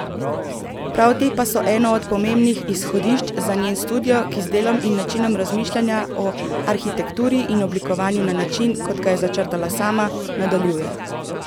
Prav te pa so eno od pomembnih izhodišč za njen studio, ki z delom in načinom razmišljanja o arhitekturi in oblikovanju na način, kot ga je začrtala sama, nadaljuje.